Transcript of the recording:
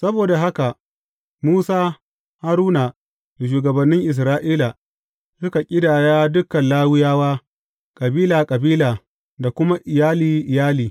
Saboda haka, Musa, Haruna da shugabannin Isra’ila, suka ƙidaya dukan Lawiyawa kabila kabila da kuma iyali iyali.